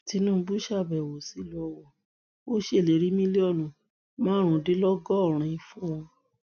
tinubu ṣàbẹwò sílùú ó ṣèlérí mílíọnù márùndínlọgọrin fún wọn